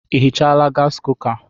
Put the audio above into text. I hichaala gaasi kuka?